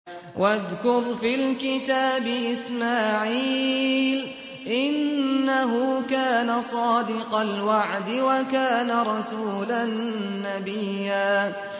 وَاذْكُرْ فِي الْكِتَابِ إِسْمَاعِيلَ ۚ إِنَّهُ كَانَ صَادِقَ الْوَعْدِ وَكَانَ رَسُولًا نَّبِيًّا